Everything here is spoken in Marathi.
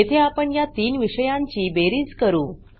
येथे आपण या तीन विषयांची बेरीज करू